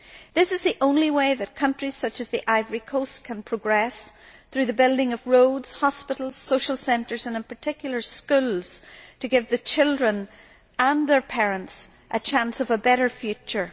This is the only way that countries such as the Ivory Coast can progress through the building of roads, hospitals, social centres and in particular schools to give the children and their parents a chance of a better future.